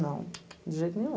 Não, de jeito nenhum.